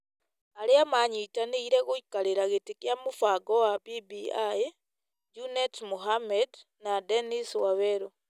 Arĩa manyitanĩire gũikarĩra gĩtĩ kĩa mũbango wa BBI , Junet Muhamed na Dennis Wawerũ ,